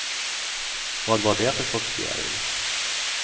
Vad var det för sorts fjäril?